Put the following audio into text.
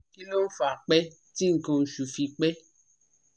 Kí ló ń fa pẹ́ tí nkan oṣù fi pe?